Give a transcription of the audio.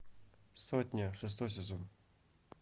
сотня шестой сезон